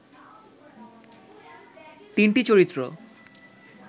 তিনটি চরিত্র